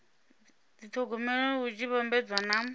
dithogomela hu tshi vhambedzwa na